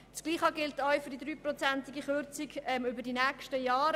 Dasselbe gilt für die Kürzung um 3 Prozent über die nächsten Jahre.